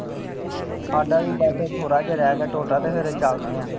ਸਾਡਾ ਵੀ ਬੱਸ ਥੋੜ੍ਹਾ ਜਿਹਾ ਰਹਿ ਗਿਆ। ਤੁਹਾਡਾ ਤੇ ਫੇਰ ਚੱਲਦੇ ਆ